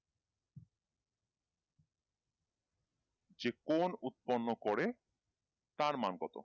যে কোন উৎপন্ন করে তার মান কত